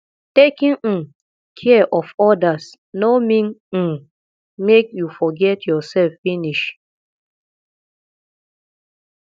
taking um care of others no mean um make you forget yourself finish